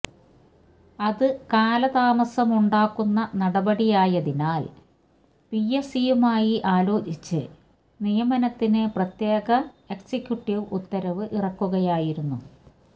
അത് കാലതാമസമുണ്ടാക്കുന്ന നടപടിയായതിനാൽ പി എസ് സിയുമായി ആലോചിച്ച് നിയമനത്തിന് പ്രത്യേക എക്സിക്യുട്ടീവ് ഉത്തരവ് ഇറക്കുകയായിരുന്നു